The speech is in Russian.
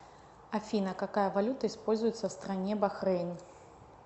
афина какая валюта используется в стране бахрейн